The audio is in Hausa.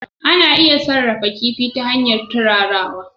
Ana iya sarrafa kifi ta hanyar turarawa